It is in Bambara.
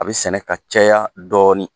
A bɛ sɛnɛ ka caya dɔɔnin